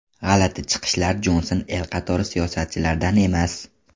G‘alati chiqishlar Jonson el qatori siyosatchilardan emas.